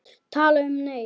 Tala um, nei!